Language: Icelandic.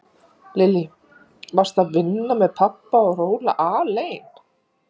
Lillý: Varstu að vinna með pabba og róla alein?